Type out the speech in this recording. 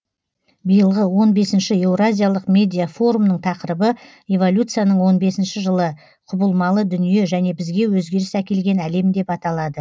биылғы он бесінші еуразиялық медиафорумның тақырыбы эволюцияның он бесінші жылы құбылмалы дүние және бізге өзгеріс әкелген әлем деп аталады